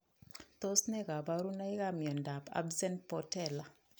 Tos ne kaborunoikab miondop absent patella?